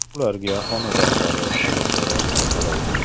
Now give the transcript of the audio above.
Ularga xonadonlari kalitlari qaytarildi.